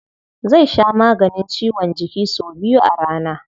Zai sha maganin ciwon jiki sau biyu a rana.